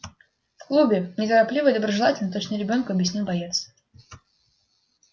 в клубе неторопливо и доброжелательно точно ребёнку объяснил боец